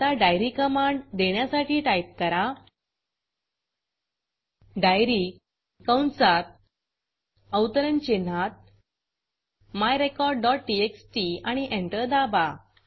आता diary command देण्यासाठी type करा diaryडाइयरी कंसात अवतरण चिन्हांत myrecordटीएक्सटी आणि एंटर दाबा